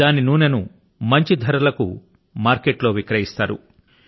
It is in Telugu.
దాని నూనె ను మంచి ధరల కు బజారు లో విక్రయిస్తారు